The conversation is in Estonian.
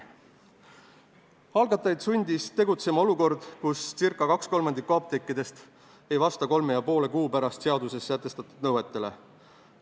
Algatajaid sundis tegutsema olukord, kus kolme ja poole kuu pärast ei vasta circa 2/3 apteekidest seaduses sätestatud nõuetele.